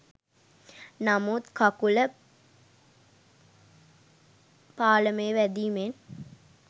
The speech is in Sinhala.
නමුත් කකුළ පාළමේ වැදිමෙන්